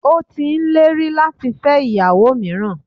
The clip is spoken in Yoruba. Ó ti n lérí láti fẹ́ ìyàwó míràn